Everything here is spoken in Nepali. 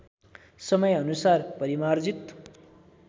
समयानुसार परिमार्जित